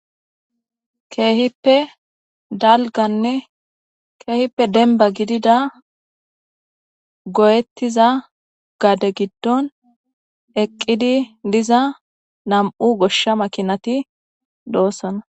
Kehippe Dembba dalga gidida goyetiza gade gidon tophiyan bolla nam'u goshsha kaamey eqqi beettes.